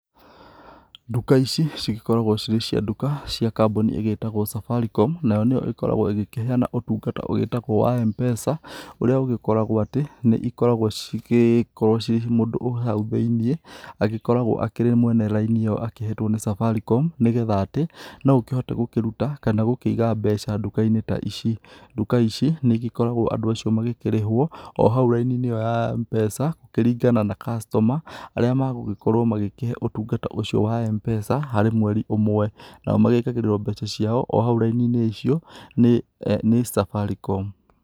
Nduka ici cikoragwo cirĩ cia nduka cia kambũni ĩgĩtagwo Safaricom nayo nĩyo ĩkoragwo ĩgíkĩheana ũtungata wĩtagwo wa M-PESA ũrĩa ũgĩkoragwo atĩ nĩikoragwo cikĩ cigĩko mũndũ wĩ hau thĩ-iniĩ agĩkoragwo arĩ mwene raini ĩyo akĩhetwo nĩ Safaricom nĩgetha atĩ noũkĩhote gũkĩruta kana gũkĩiga mbeca nduka-inĩ ici nduka ici nĩigĩkoragwo andũ acio magĩkĩrĩhwo o hau raini-inĩ ya mbeca kũringana na customer arĩa magũkorwo makĩheo ũtungata ũcio wa M-PESA harĩ mweri ũmwe nao magĩkagĩrĩrwo mbeca ciao ohau raini-ini ĩyo ni Safaricom.